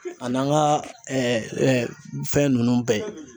A n'an ka fɛn ninnu bɛɛ.